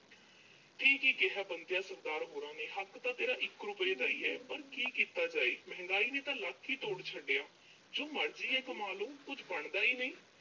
ਇਹ ਕੀ ਕਿਹਾ ਬੰਤਿਆ ਸਰਦਾਰ ਹੋਰਾਂ ਨੇਂ? ਹੱਕ ਤਾਂ ਤੇਰਾ ਇੱਕ ਰੁਪਏ ਦਾ ਹੀ ਆ। ਪਰ ਕੀ ਕੀਤਾ ਜਾਏ, ਮਹਿੰਗਾਈ ਨੇਂ ਤਾਂ ਲੱਕ ਹੀ ਤੋੜ ਛੱਡਿਆ। ਜੋ ਮਰਜ਼ੀ ਕਮਾ ਲੋ, ਕੁਝ ਬਣਦੀ ਹੀ ਨੀਂ।